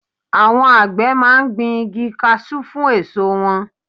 Àwọn àgbẹ̀ máa ń gbin igi kasú fún èso wọn.